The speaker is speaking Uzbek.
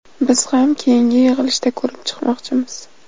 Biz ham keyingi yig‘ilishda ko‘rib chiqmoqchimiz.